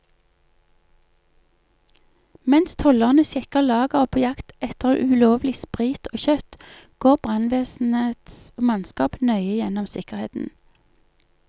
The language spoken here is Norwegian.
Mens tollerne sjekker lageret på jakt etter ulovlig sprit og kjøtt, går brannvesenets mannskap nøye gjennom sikkerheten.